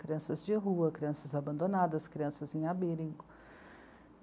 Crianças de rua, crianças abandonadas, crianças em abrigo.